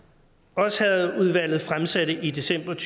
oddershedeudvalget fremsatte i december